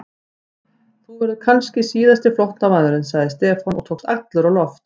Þú verður kannski síðasti flóttamaðurinn sagði Stefán og tókst allur á loft.